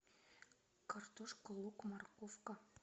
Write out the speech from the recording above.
картошка лук марковка